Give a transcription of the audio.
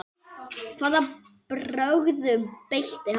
Hvaða brögðum beitti hann?